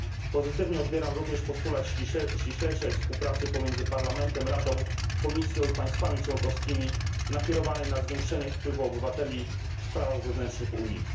Pozytywnie odbieram również postulat ściślejszej współpracy pomiędzy Parlamentem, Radą, Komisją i państwami członkowskimi ukierunkowanej na zwiększenie wpływu obywateli w sprawach wewnętrznych Unii.